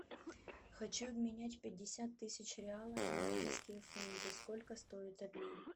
хочу обменять пятьдесят тысяч реалов на английские фунты сколько стоит обмен